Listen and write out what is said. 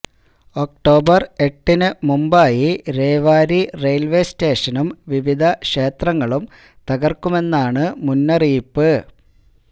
October എട്ടിന് മുമ്പായി Rewari railway സ്റ്റേഷനും വിവിധ ക്ഷേത്രങ്ങളും തകര്ക്കുമെന്നാണ് മുന്നറിയിപ്പ്